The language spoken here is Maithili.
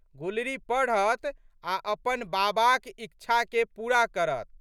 गुलरी पढ़त आ' अपन बाबाक इच्छाके पूरा करत।